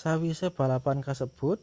sawise balapan kasebut